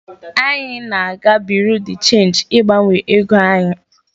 Anyị na-aga bureau de change ịgbanwe ego anyị.